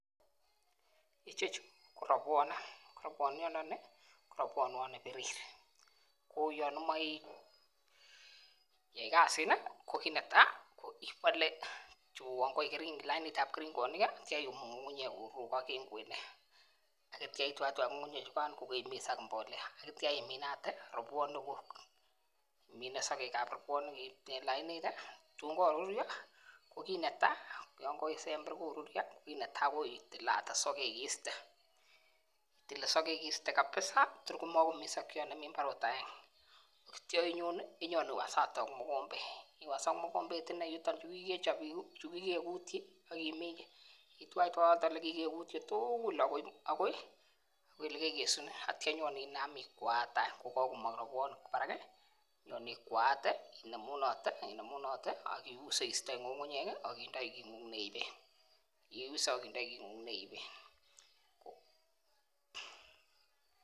Ichechu ko robwonik ko robwoniot ndoni ko robwoniot nepirir ko yon imoi iyai kasini ko kit netai ko ibole chu uwon koik lainitab keringonik kii ak ityo iyumu ngungunyek korurukok en kwenet ak ityo itwaitwai ngungunyek chukan kokemikisen ak imbolea ak ityo iminate ropwonik kuk, imine sokekan robwonik en lainit tun koruryo ko kit netai yon kosember koruryo ko kite netai ko ililate sokek iste itile sokeke iste kabisa tor komemii ot aenge ak ityo onyon inyewasate ak mokombet, iwas ak mokombet inee yuton yuu kikechob yuu chukikekutyi akiminchi itwaitwai yoton yekikekutyi tukul akoi lelekesune ak ityo inyenem ikwaate any ko kokomong robwoni barak nyon ikwaate inemunote, imenunote ak iuse istoi ngungunyek kii ak indoi kongung neiben, yeuse ak indoi kingung neiben.